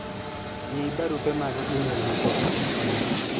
ng'i barupe mag email ma pok osom